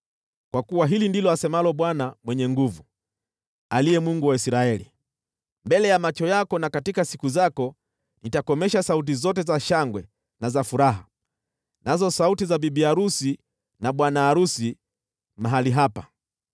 Kwa kuwa hili ndilo asemalo Bwana Mwenye Nguvu Zote, aliye Mungu wa Israeli: ‘Mbele ya macho yako na katika siku zako, nitakomesha sauti zote za shangwe na za furaha, na pia sauti za bibi arusi na bwana arusi mahali hapa.’